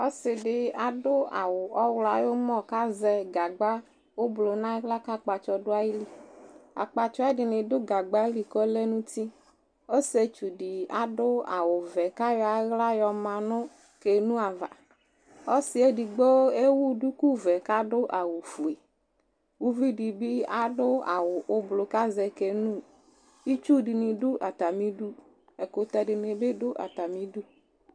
ɔse di ado awu ɔwlɔ ayi umɔ ko azɛ gagba ublɔ no ala ko akpatsɔ do ayili akpatsɔɛ di do gagba li ko ɔlɛ no uti ɔsietsu di ado awu vɛ ko ayɔ ala yɔ ma no canoe ava ɔse yɛ edigbo ewu duku vɛ ko ado awu fue uvi di bi ado awu ublɔ ko aze canoe itsu di ni do atami du ɛkotɛ di ni bi do atami du